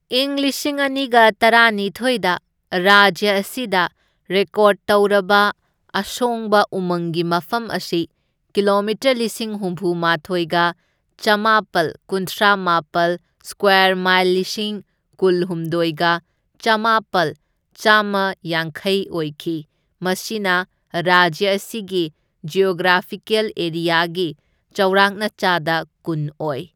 ꯢꯪ ꯂꯤꯁꯤꯡ ꯑꯅꯤꯒ ꯇꯔꯥꯅꯤꯊꯣꯢꯗ ꯔꯥꯖ꯭ꯌ ꯑꯁꯤꯗ ꯔꯦꯀꯣꯔꯗ ꯇꯧꯔꯕ ꯑꯁꯣꯡꯕ ꯎꯃꯪꯒꯤ ꯃꯐꯝ ꯑꯁꯤ ꯀꯤꯂꯣꯃꯤꯇꯔ ꯂꯤꯁꯤꯡ ꯍꯨꯝꯐꯨ ꯃꯥꯊꯣꯢꯒ ꯆꯥꯝꯃꯥꯄꯜ ꯀꯨꯟꯊ꯭ꯔꯥꯃꯥꯄꯜ ꯁꯀ꯭ꯋꯥꯔ ꯃꯥꯏꯜ ꯂꯤꯁꯤꯡ ꯀꯨꯜꯍꯨꯝꯗꯣꯢꯒ ꯆꯥꯝꯃꯥꯄꯜ ꯆꯥꯝꯃꯌꯥꯡꯈꯩ ꯑꯣꯏꯈꯤ, ꯃꯁꯤꯅ ꯔꯥꯖ꯭ꯌ ꯑꯁꯤꯒꯤ ꯖꯤꯑꯣꯒ꯭ꯔꯥꯐꯤꯀꯦꯜ ꯑꯦꯔꯤꯌꯥꯒꯤ ꯆꯥꯎꯔꯥꯛꯅ ꯆꯥꯗ ꯀꯨꯟ ꯑꯣꯢ꯫.